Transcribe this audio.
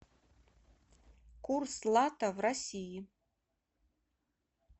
курс лата в россии